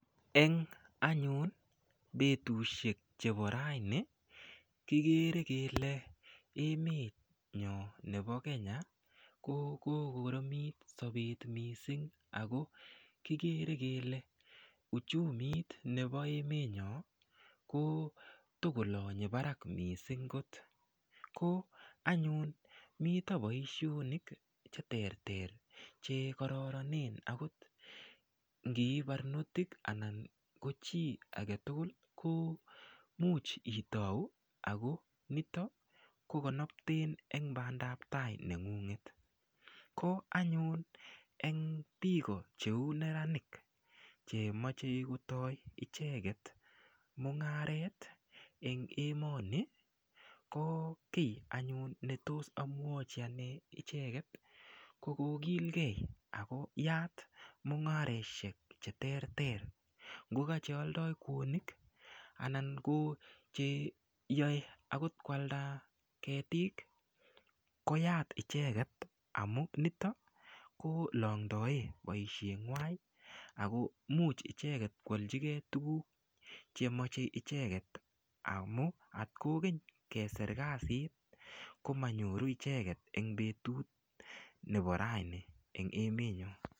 Eng' anyun betushek chebo raini kikere kele emenyo nebo Kenya ko kokoromit sobet mising' ako kikere kele uchumit nebo emenyo ko tikolonyei barak mising' kot ko anyun mito boishonik cheterter chekororonen akot ngii barnotik anan ko chi agetugul ko muuch itou ako nito kokonopten eng' bandaptai neng'unget ko anyun eng' biko cheu neranik chemochei kotoi icheget mung'aret eng' emoni ko kii anyun netos amwochi ane icheget ko kokilgei ako yaat mung'areshek cheterter ngokacheoldoi kwonik anan ko cheyoei akot kwalda ketik koyat icheget amun nitokolondoe boisheng'wai ako muuch icheget kwoljikei tukuk chemochei icheget amu atkokeny keser kasit komanyoru icheget eng' betut nebo raini eng' emenyo